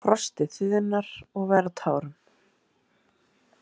Frostið þiðnar og verður að tárum.